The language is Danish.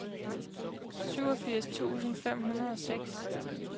syvogfirs tusind fem hundrede og seks